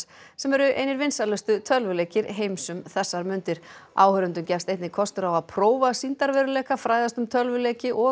sem eru einir vinsælustu tölvuleikir heims um þessar mundir áhorfendum gefst einnig kostur á að prófa sýndarveruleika fræðast um tölvuleiki og